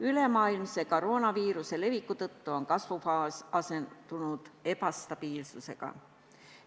Ülemaailmse koroonaviiruse leviku tõttu on kasvufaas asendunud ebastabiilsusega.